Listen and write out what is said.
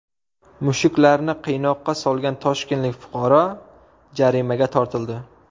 Mushuklarni qiynoqqa solgan toshkentlik fuqaro jarimaga tortildi.